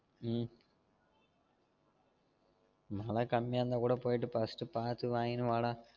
உம் மழ கம்மியா இருந்தா கூட போயிட்டு first பாத்து வாங்கினு வாடா